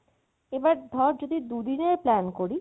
এবার ধরে যদি দু দিনের plan করি